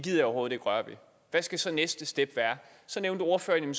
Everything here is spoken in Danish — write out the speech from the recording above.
jeg overhovedet ikke røre ved hvad skal så næste step være så nævnte ordføreren